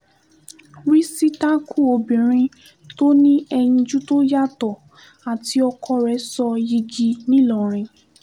rìsítákù obìnrin tó ní ẹyinjú tó yàtọ̀ àti ọkọ rẹ̀ sọ yigi ńìlọrin